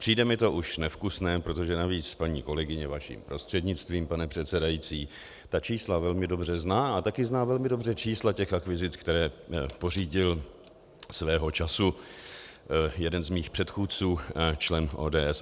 Přijde mi to už nevkusné, protože navíc paní kolegyně vaším prostřednictvím, pane předsedající, ta čísla velmi dobře zná a také zná velmi dobře čísla těch akvizic, které pořídil svého času jeden z mých předchůdců, člen ODS.